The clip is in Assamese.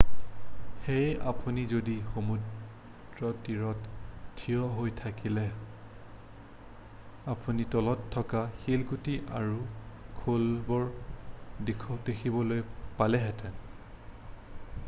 সেয়ে আপুনি যদি সমুদ্ৰতীৰত থিয় হৈ থকাহ'লে আপুনি তলত থকা শিলগুটি আৰু খোলাবোৰ দেখিবলৈ পালেহেঁতেন